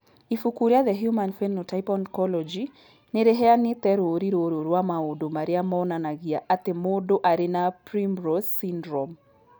Ibuku rĩa The Human Phenotype Ontology nĩ rĩheanĩte rũũri rũrũ rwa maũndũ marĩa monanagia atĩ mũndũ arĩ na Primrose syndrome.